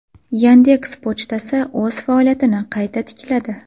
Yandeks” pochtasi o‘z faoliyatini qayta tikladi.